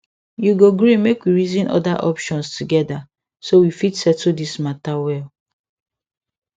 you go gree make we reason other options together so we fit settle this matter well